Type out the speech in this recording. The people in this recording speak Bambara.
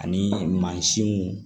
Ani mansinw